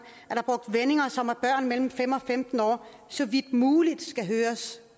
mellem fem og femten år så vidt muligt skal høres